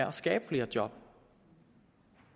at skabe flere job